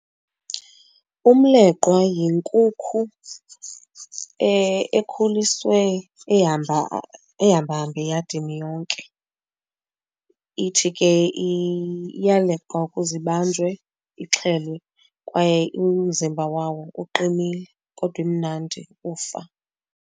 Umleqwa yinkukhu ekhuliswe ehamba, ehambahamba eyadini yonke. Ithi ke iyaleqwa ukuze ibanjwe ixhelwe kwaye umzimba wawo uqinile kodwa imnandi ukufa.